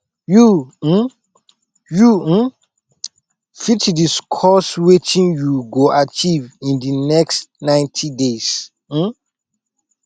you um you um fit discuss wetin you go achieve in di next 90 days um